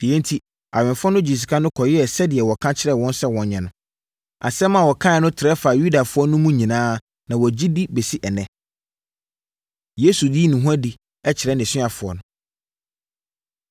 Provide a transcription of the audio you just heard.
Yei enti, awɛmfoɔ no gyee sika no kɔyɛɛ sɛdeɛ wɔka kyerɛɛ wɔn sɛ wɔnyɛ no. Asɛm a wɔkaeɛ no trɛ faa Yudafoɔ no mu nyinaa na wɔgye di de bɛsi ɛnnɛ. Yesu Yi Ne Ho Adi Kyerɛ Nʼasuafoɔ No